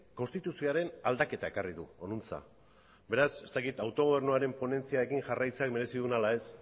konstituzioaren aldaketa ekarri du honantza beraz ez dakit autogobernuaren ponentziarekin jarraitzeak merezi dun ala ez